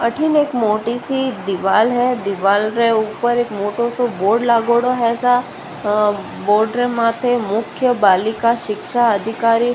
अठन एक मोटी सी दीवार है दीवाल रे ऊपर एक मोटों सौ बोर्ड लागोडो है ऊपर बोर्ड रे माथे मुख बालिका शिक्षा अधिकारी --